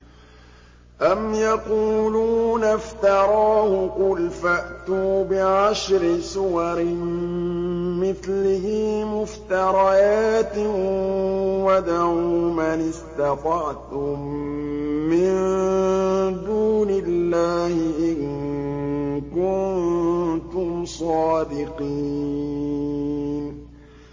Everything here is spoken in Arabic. أَمْ يَقُولُونَ افْتَرَاهُ ۖ قُلْ فَأْتُوا بِعَشْرِ سُوَرٍ مِّثْلِهِ مُفْتَرَيَاتٍ وَادْعُوا مَنِ اسْتَطَعْتُم مِّن دُونِ اللَّهِ إِن كُنتُمْ صَادِقِينَ